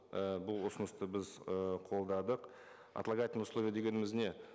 і бұл ұсынысты біз і қолдадық отлагательное условие дегеніміз не